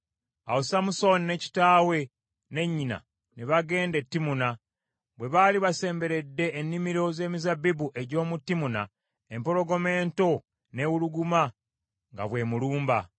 Awo Samusooni ne kitaawe ne nnyina ne bagenda e Timuna. Bwe baali basemberedde ennimiro z’emizabbibu egy’omu Timuna, empologoma ento n’ewuluguma nga bw’emulumba.